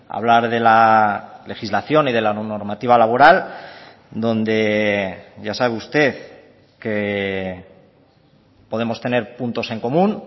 hablar de la legislación y de la normativa laboral donde ya sabe usted que podemos tener puntos en común